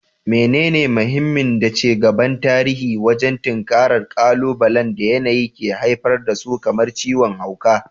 Menene mahimmin da ci gaban tarihi wajen tinkarar ƙalubalen da yanayi ke haifar da su kamar ciwon hauka?